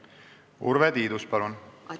Urve Tiidus, palun!